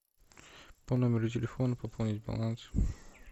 по номеру телефона пополнить баланс